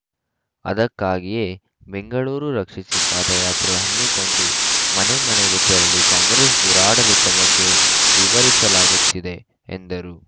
ಅದಕ್ಕಾಗಿಯೇ ಬೆಂಗಳೂರು ರಕ್ಷಿಸಿ ಪಾದಯಾತ್ರೆ ಹಮ್ಮಿಕೊಂಡು ಮನೆ ಮನೆಗೂ ತೆರಳಿ ಕಾಂಗ್ರೆಸ್‌ ದುರಾಡಳಿತದ ಬಗ್ಗೆ ವಿವರಿಸಲಾಗುತ್ತಿದೆ ಎಂದರು